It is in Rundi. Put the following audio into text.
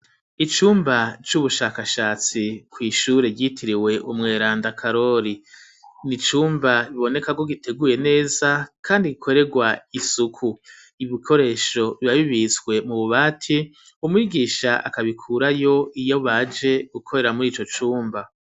Icumba c'ubushakashatsi kw'ishure ryitiriwe Umweranda Karori, ni cumba biboneka ko giteguye neza kandi gikoregwa isuku, ibikoresho bibabibitswe mu bubati umwigisha akabikurayo iyo baje gukorera muri ico cumba.